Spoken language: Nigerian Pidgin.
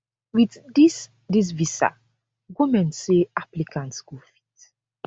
wit dis dis visa goment say applicants go fit